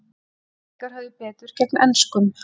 Íslendingar höfðu betur gegn enskum